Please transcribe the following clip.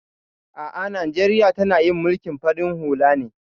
A'a Najeriya tana yin mulkin farin hula ne